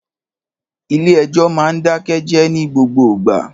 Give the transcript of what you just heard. Ìlé ẹjọ mà ń dàké jẹ ni gbogbo gbà